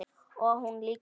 Og hún líka.